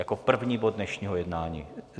Jako první bod dnešního jednání.